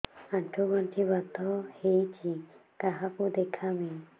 ଆଣ୍ଠୁ ଗଣ୍ଠି ବାତ ହେଇଚି କାହାକୁ ଦେଖାମି